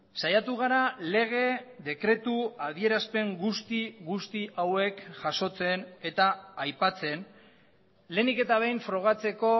saiatu gara lege dekretu adierazpen guzti guzti hauek jasotzen eta aipatzen lehenik eta behin frogatzeko